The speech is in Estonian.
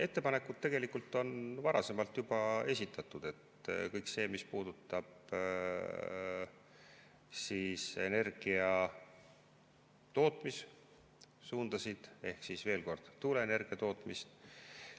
Ettepanekud on tegelikult juba varasemalt esitatud, kõik see, mis puudutab energiatootmissuundasid, ehk siis, veel kord, tuuleenergia tootmist.